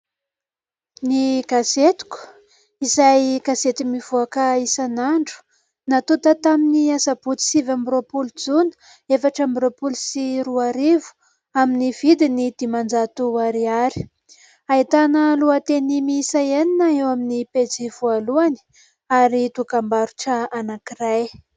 ''Ny gazetiko'' izay gazety mivoaka isan'andro natonta tamin'ny Asabotsy sivy amby roapolo jona efatra amby roapolo sy roa arivo amin'ny vidiny dimanjato ariary. ahitana lohateny miisa enina eo amin'ny pejy voalohany ary dokam-barotra anankiray.